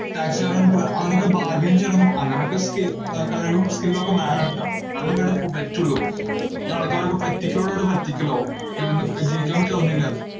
taxi കാരന്റോട് അങ്ങനൊക്കെ bargain ചെയ്യണം, അങ്ങനൊക്കെ skill ആഹ് കഴിവും skill ഉം ഒക്കെ വേണേട്ടോ, എന്നാലേ ഇവിടെ പു~ പറ്റുള്ളൂ. പിന്ന ആൾക്കാരൊക്കെ പറ്റിക്കലോടുപറ്റിക്കലാവും, അല്ലെങ്കി അവനൊക്കെ ജീവിക്കാൻ പറ്റുവോ ഒന്നുവില്ലാതെ